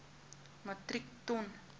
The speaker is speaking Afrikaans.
metrieke ton